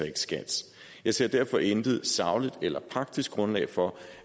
i skats jeg ser derfor intet sagligt eller praktisk grundlag for